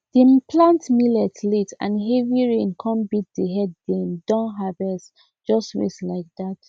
dem plant millet late and heavy rain come beat the head dem downharvest just waste like that